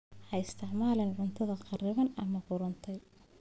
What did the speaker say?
Ha isticmaalin cunto kharriban ama qudhuntay.